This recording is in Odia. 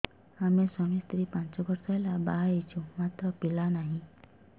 ଆମେ ସ୍ୱାମୀ ସ୍ତ୍ରୀ ପାଞ୍ଚ ବର୍ଷ ହେଲା ବାହା ହେଇଛୁ ମାତ୍ର ପିଲା ନାହିଁ